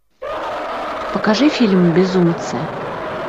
покажи фильм безумцы